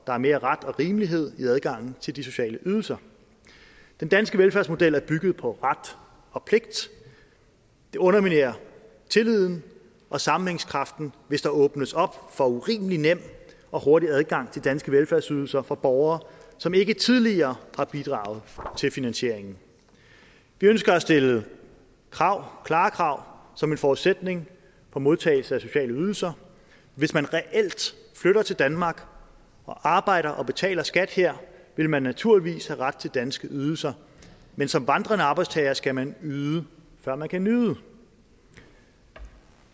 er mere ret og rimelighed i adgangen til de sociale ydelser den danske velfærdsmodel er bygget på ret og pligt og det underminerer tilliden og sammenhængskraften hvis der åbnes op for urimelig nem og hurtig adgang til danske velfærdsydelser for borgere som ikke tidligere har bidraget til finansieringen vi ønsker at stille krav klare krav som en forudsætning for modtagelse af sociale ydelser hvis man reelt flytter til danmark og arbejder og betaler skat her vil man naturligvis have ret til danske ydelser men som vandrende arbejdstager skal man yde før man kan nyde